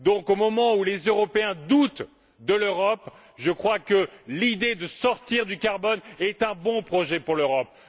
À l'heure où les Européens doutent de l'Europe, je crois donc que l'idée de sortir du carbone est un bon projet pour l'Europe.